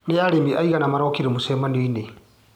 Nĩ arĩmi aigana marokire mũcemanioinĩ.